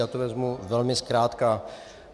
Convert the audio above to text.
Já to vezmu velmi zkrátka.